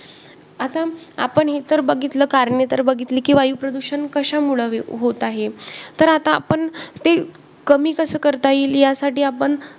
आता आपण हे तर बघितलं, कारणे तर बघितली की वायु प्रदूषण कशामुळं होत आहे. तर आता आपण ते कमी कसं करता येईल यासाठी आपण